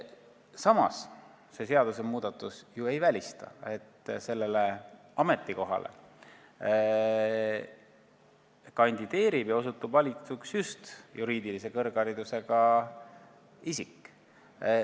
Samas, see seadusmuudatus ju ei välista, et sellele ametikohale kandideerib ja osutub valituks just juriidilise kõrgharidusega isik.